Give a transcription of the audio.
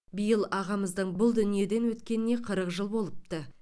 биыл ағамыздың бұл дүниеден өткеніне қырық жыл болыпты